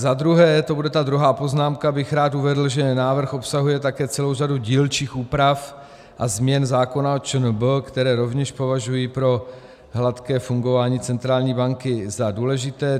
Za druhé, to bude ta druhá poznámka, bych rád uvedl, že návrh obsahuje také celou řadu dílčích úprav a změn zákona o ČNB, které rovněž považuji pro hladké fungování centrální banky za důležité.